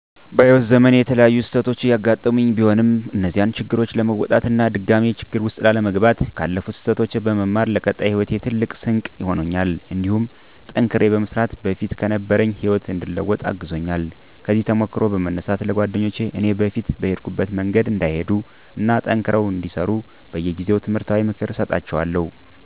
በህይዎት ዘመኔ የተለያዩ ስህተቶች ያጋጠሙኝ ቢሆንም እነዚያን ችግሮች ለመወጣት እና ድጋሜ ችግር ውስጥ ላለመግባት ካለፉት ስህተቶች በመማር ለቀጣይ ሂወቴ ትልቅ ስንቅ ሆኖኛል እንዲሁም ጠንክሬ በመስራት በፊት ከነበረኝ ህይወት እንድለወጥ አግዞኛል። ከዚህ ተሞክሮ በመነሳት ለጓደኞቸ እኔ በፊት በሄድኩበት መንገድ እንዳይሄዱ እና ጠንክረው እንዲሰሩ በየጊዜው ትምህርታዊ ምክር እሰጣቸዋለሁ።